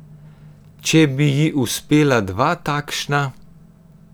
Če bi ji uspela dva takšna ...